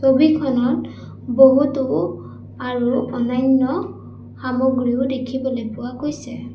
ছবিখনত বহুতো আৰু অন্যান্য সামগ্ৰীও দেখিবলৈ পোৱা গৈছে।